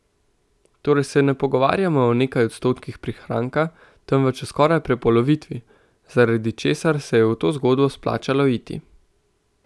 Torej se ne pogovarjamo o nekaj odstotkih prihranka, temveč o skoraj prepolovitvi, zaradi česar se je v to zgodbo splačalo iti.